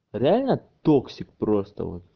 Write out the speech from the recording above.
реально токсик просто вот